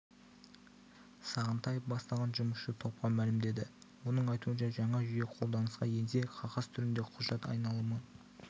сағынтаев бастаған жұмысшы топқа мәлімдеді оның айтуынша жаңа жүйе қолданысқа енсе қағаз түріндегі құжат айналымы